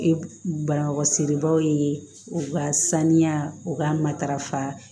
E balaga siri baw ye u ka saniya u ka matarafa